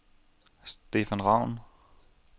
Stefan Raun